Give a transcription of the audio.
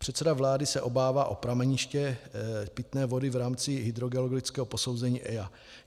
Předseda vlády se obává o prameniště pitné vody v rámci hydrogeologického posouzení EIA.